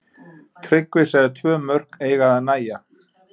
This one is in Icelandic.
Tryggvi sagði tvö mörk eiga að nægja.